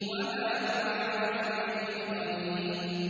وَمَا هُوَ عَلَى الْغَيْبِ بِضَنِينٍ